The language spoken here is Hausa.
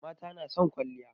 Mata na son kwalliya